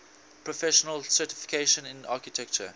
professional certification in architecture